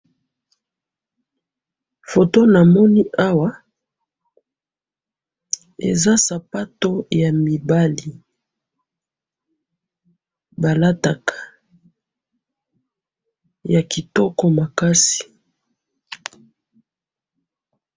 foto namoni awa eza sapato ya mibali balataka ya kitoko makasi